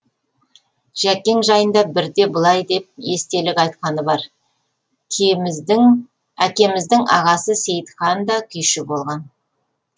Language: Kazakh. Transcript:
жәкең жайында бірде былай деп естелік айтқаны бар әкеміздің ағасы сейітхан да күйші болған